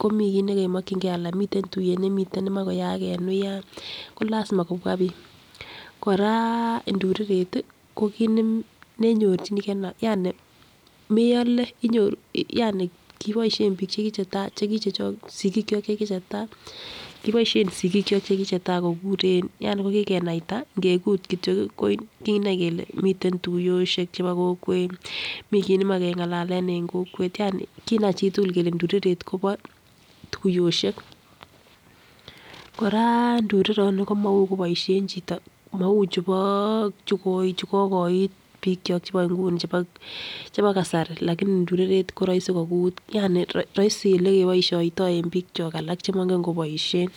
komii ki nekomokingee ana miten tuyet nemiten nemoi koyaak en wuyan ko lasima kobwa bik. Koraa ndureret tii ko kit neme nenyorchinji Ono yani meole inyoru yani kiboishen bik chekichetai chekichechok sikikyok chekichetai. Kiboishen sikikyok chekichetai kikuren yani ko kikenaita ngekuren yani ko kikenaita ngekut kityok kii ko kinai kole miten tuyoshek chebo kokwet, Mii kii nemoi kengalalen en kokwet yani kinai chitukul kele ndureret Kobo tuyoshek. Koraa ndureroni ko Maui koboishen chito mou chubo chuko chu kokoit bik kyok chebo inguni chebo kasari lakini [ca]ndureret koroisi kokut yani roisi elekeboishoito en bik kyon alak chemoingen koboishen.